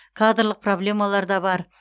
кадрлық проблемалар да бар